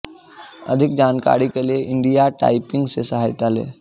अधिक जानकारी के लिए इंडिया टाइपिंग से सहायता लें